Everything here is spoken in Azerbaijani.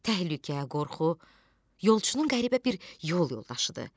Təhlükə, qorxu yolçunun qəribə bir yol yoldaşıdır.